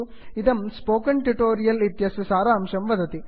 इदं spoken tutorial project इत्यस्य सारांशं वदति